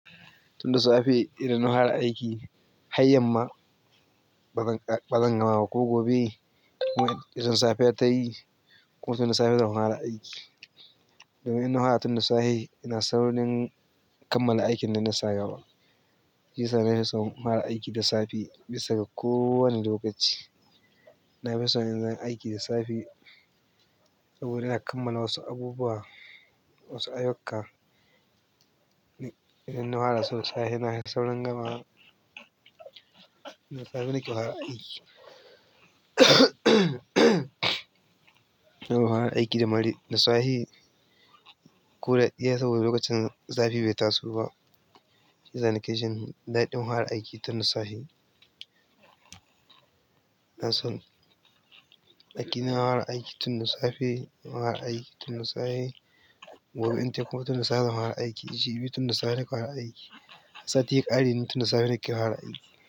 Tunda safe irin na fara aiki har yanma bazan gama ba ko gobe irin safiya tayi koda na fara aiki domin na fara tunda safe ina saurin kam mala aikin da na fara shiyasa na fison fara aiki da safe bisa ga kowani lokaci. Na fison inyi aiki da safe saboda ina kammala wasu abubuwa, wasu aiyuka ina fara sau safe, na fi saurin gamawa. Da safe nake fara aiki. Ina fara aiki da marai da safe. Kuda ɗiya saboda lokacin zafi bai taso ba. Shiyasa nake jin daɗin fara aiki tun da safe, inason hara hawa aiki tun da safe. Gobe ita kuma tun da safe zan hawa aiki. Iji bi tun da safe nake hawa aiki. Safeti ƙari nuna tun da safe nake hawa aiki.